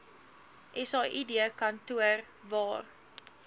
said kantoor waar